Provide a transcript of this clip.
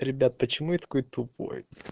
ребят почему я такой тупой